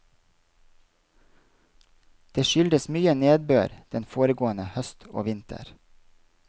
Det skyldtes mye nedbør den foregående høst og vinter.